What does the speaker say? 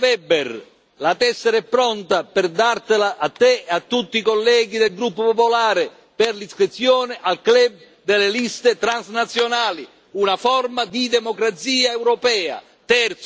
Onorevole Weber, la tessera è pronta per Lei e per tutti i colleghi del gruppo popolare per l'iscrizione al club delle liste transnazionali, una forma di democrazia europea.